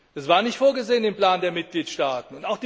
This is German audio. Das war nicht vorgesehen im Plan der Mitgliedstaaten.